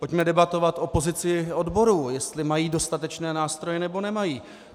Pojďme debatovat o pozici odborů, jestli mají dostatečné nástroje, nebo nemají.